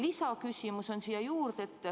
Lisaküsimus siia juurde.